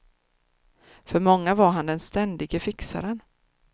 För många var han den ständige fixaren.